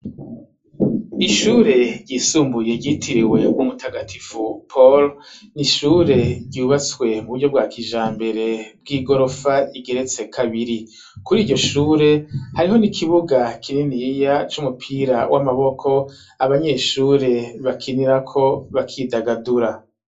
Ishure ryisumbuye ryitiriwe umutagatifu palo ni ishure ryubatswe mu buryo bwa kija mbere bw'i gorofa igeretse kabiri kuri iryo shure hariho ni ikibuga kininiya c'umupira w'amaboko abanyeshure bakinirako bakidagadura.